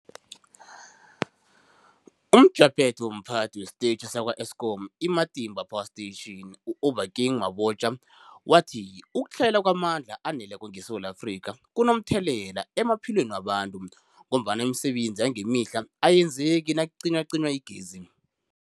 UmJaphethe womPhathi wesiTetjhi sakwa-Eskom i-Matimba Power Station u-Obakeng Mabotja wathi ukutlhayela kwamandla aneleko ngeSewula Afrika kunomthelela emaphilweni wabantu ngombana imisebenzi yangemihla ayenzeki nakucinywacinywa igezi.